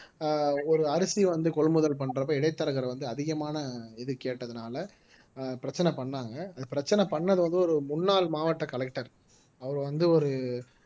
ஆஹ் ஒரு அரிசி வந்து கொள்முதல் பண்றப்ப இடைத்தரகர் வந்து அதிகமான இது கேட்டதுனால ஆஹ் பிரச்சனை பண்ணாங்க பிரச்சனை பண்ணது வந்து ஒரு முன்னாள் மாவட்ட collector அவர் வந்து ஒரு